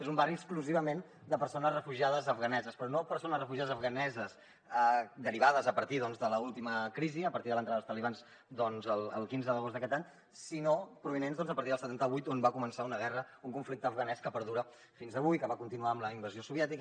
és un barri exclusivament de persones refugiades afganeses però no persones refugiades afganeses derivades a partir de l’última crisi a partir de l’entrada dels talibans el quinze d’agost d’aquest any sinó provinents doncs de a partir del setanta vuit on va començar una guerra un conflicte afganès que perdura fins avui que va continuar amb la invasió soviètica